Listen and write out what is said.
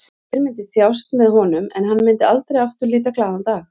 Þjóðin myndi þjást með honum en hann myndi aldrei aftur líta glaðan dag.